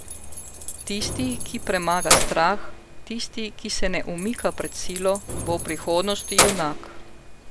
Tisti, ki premaga strah, tisti, ki se ne umika pred Silo, bo v prihodnosti Junak.